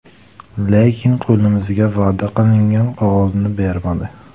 Lekin qo‘limizga va’da qilingan qog‘ozni bermadi.